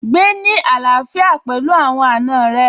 Gbé ní àlàfíà pẹ̀lú àwọn àna rẹ̀